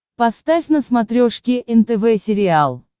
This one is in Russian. поставь на смотрешке нтв сериал